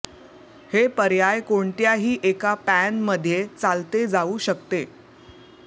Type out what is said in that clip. हे पर्याय कोणत्याही एका पॅन मध्ये चालते जाऊ शकते